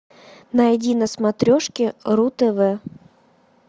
найди на смотрешке ру тв